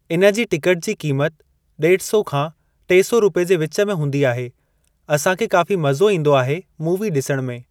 इन जी टिकट जी क़ीमत ॾेढ सौ खां टे सौ रुपए जे विच में हूंदी आहे असांखे काफ़ी मज़ो ईंदो आहे मूवी ॾिसण में।